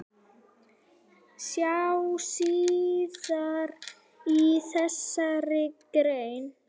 Sjá síðar í þessari grein.